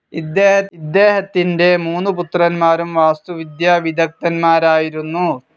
ഇദ്ദേഹത്തിന്റെ മൂന്നു പുത്രൻമാരും വാസ്തുവിദ്യാവിദഗ്ദ്ധന്മാരായിരുന്നു.